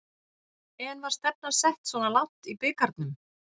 En var stefnan sett svona langt í bikarnum?